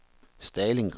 Stalingrad